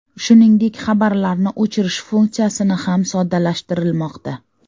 Shuningdek, xabarlarni o‘chirish funksiyasini ham soddalashtirilmoqda.